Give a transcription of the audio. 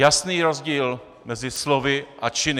Jasný rozdíl mezi slovy a činy.